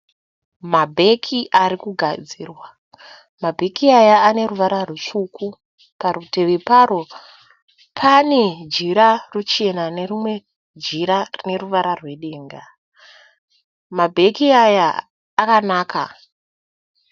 Mabeki ari kugadzirwa, mabeki aya ane ruvara rwutsvuku, parutivi paro pane jira ruchena nerimwe jira reruvara rwedenda. Mabeki awa akanaka.